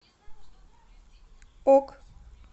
ок